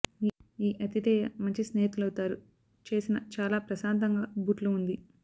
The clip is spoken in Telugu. ఈ అతిధేయ మంచి స్నేహితులవుతారు చేసిన చాలా ప్రశాంతంగా బూట్లు ఉంది